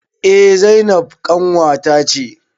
Eh zainab ƙanwata ce